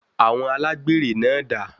Awọn Alágbèré náà dà?